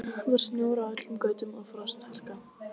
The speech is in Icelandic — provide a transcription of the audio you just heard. Það var snjór á öllum götum og frostharka.